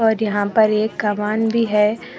यहां पर एक भी है।